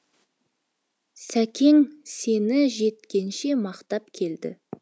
сәкең сені жеткенше мақтап келді